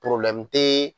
te